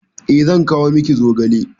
Eh, zan kawo miki zogale.